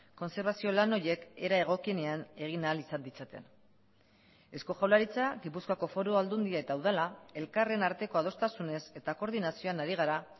kontserbazio lan horiek era egokienean egin ahal izan ditzaten eusko jaurlaritza gipuzkoako foru aldundia eta udala elkarren arteko adostasunez eta koordinazioan ari gara